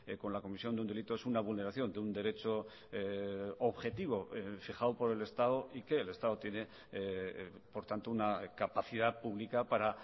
con la comisión de un delito es una vulneración de un derecho objetivo fijado por el estado y que el estado tiene por tanto una capacidad pública para